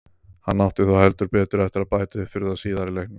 Hann átti þó heldur betur eftir að bæta upp fyrir það síðar í leiknum.